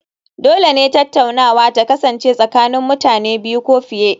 Dole ne tattaunawa ta kasance tsakanin mutane biyu ko fiye